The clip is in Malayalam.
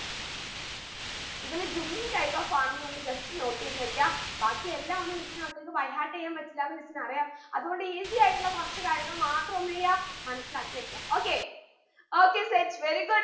ഇതില് jhumming type of farming ഒന്ന് just note എയ്ത് വെക്ക ബാക്കി എല്ലാമൊന്നും miss ന്റെ മക്കൾക്ക് byheart എയ്യാൻ പറ്റില്ല എന്ന് miss ന് അറിയാം അതു കൊണ്ട് easy ആയിട്ടുള്ള കുറച്ചു കാര്യങ്ങൾ മാത്രം എന്തെയ്യ മനസിലാക്കി വെക്കു okay okay set very good